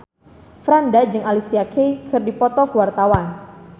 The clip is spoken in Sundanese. Franda jeung Alicia Keys keur dipoto ku wartawan